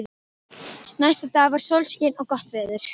Næsta dag var sólskin og gott veður.